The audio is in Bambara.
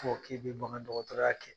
Fɔ k'i bɛ bangandɔgɔtɔrɔya kɛ.